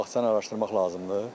Bağçanı araşdırmaq lazımdır.